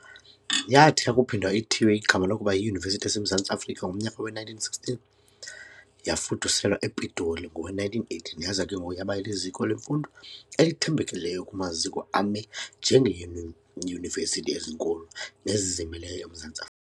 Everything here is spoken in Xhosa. Yathi yakuphinde ithiywe igama lokuba yiYunivesithi yaseMzantsi Afrika, ngomnyaka we-1916, yafuduselwa ePitoli ngowe-1918. Yaza ke ngoku yaba liziko leemviwo elithembekileyo kumaziko ame njengeeYunivesithi ezinkulu nezizimeleyo emZantsi